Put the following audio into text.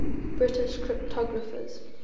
british cryptographers